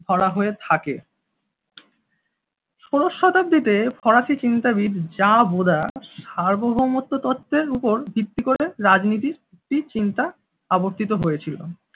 ধরা হয়ে থাকে। ষোলোর শতাব্দীতে ফরাসি চিন্তাবিদ যা ভোদাস সার্বভৌমত্বের উপর ভিত্তি করে রাজনীতি টির চিন্তা অবস্থিত হয়েছিল।